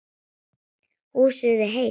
Húsið enn heilt.